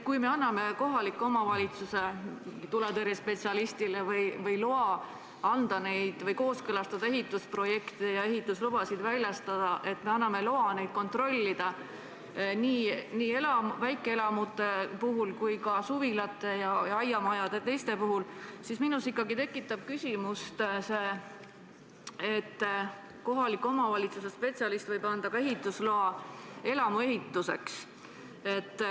Kui me anname kohaliku omavalitsuse tuletõrjespetsialistile õiguse kooskõlastada ehitusprojekte ja ehituslubasid väljastada, kui me anname talle õiguse neid kontrollida ka väikeelamute, mitte ainult suvilate ja aiamajade ja teiste hoonete puhul, siis minus ikkagi tekib küsimus, kas kohaliku omavalitsuse spetsialist võib anda ka ehitusloa elamu ehituseks.